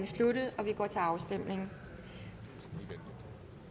sluttet og vi går til afstemning